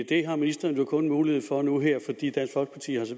det har ministeren jo kun mulighed for nu her fordi dansk folkeparti har